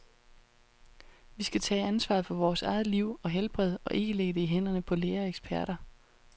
Vi skal tage ansvaret for vores eget liv og helbred, og ikke lægge det i hænderne på læger og eksperter.